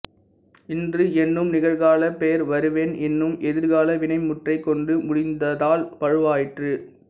இன்று என்னும் நிகழ்காலப் பெயர் வருவேன் என்னும் எதிர்கால வினைமுற்றைக் கொண்டு முடிந்ததால் வழுவாயிற்று